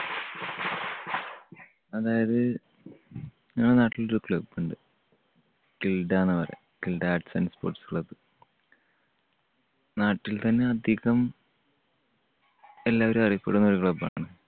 അതായത് ഞങ്ങളുടെ നാട്ടിൽ ഒരു club ഉണ്ട്. കിൽഡാന്നാണ് പറയ. Kilda arts and sports club. നാട്ടിൽ തന്നെ അധികം എല്ലാവരും അറിയപ്പെടുന്ന ഒരു club ആണ്.